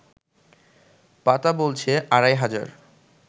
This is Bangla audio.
পাতা বলছে আড়াই হাজার